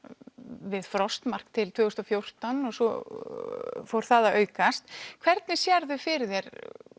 við frostmark til tvö þúsund og fjórtán og svo fór það að aukast hvernig sérðu fyrir þér